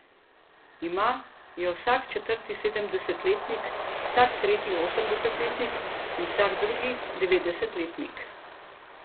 Ima jo vsak četrti sedemdesetletnik, vsak tretji osemdesetletnik in vsak drugi devetdesetletnik.